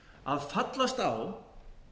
að fallast á